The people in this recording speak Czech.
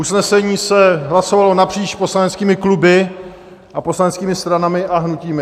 Usnesení se hlasovalo napříč poslaneckými kluby a poslaneckými stranami a hnutími.